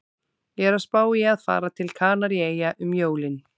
Ég er að spá í að fara til Kanaríeyja um jólin